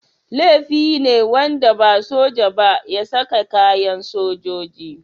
Laifi ne wanda ba soja ba ya saka kayan sojoji.